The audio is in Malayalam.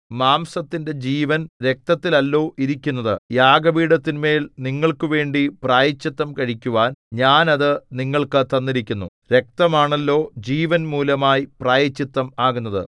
മാംസത്തിന്റെ ജീവൻ രക്തത്തിൽ അല്ലോ ഇരിക്കുന്നത് യാഗപീഠത്തിന്മേൽ നിങ്ങൾക്കുവേണ്ടി പ്രായശ്ചിത്തം കഴിക്കുവാൻ ഞാൻ അത് നിങ്ങൾക്ക് തന്നിരിക്കുന്നു രക്തമാണല്ലോ ജീവൻമൂലമായി പ്രായശ്ചിത്തം ആകുന്നത്